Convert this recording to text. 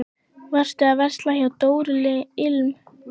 Varstu að versla hjá Dóru ilm?